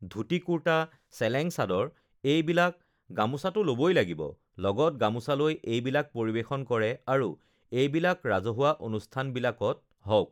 ধূতি-কুৰ্তা, চেলেং চাদৰ এইবিলাক, গামোচাতো ল'বই লাগিব, লগত গামোচা লৈ এইবিলাক পৰিৱেশন কৰে আৰু এইবিলাক ৰাজহুৱা অনুষ্ঠানবিলাকত হওঁক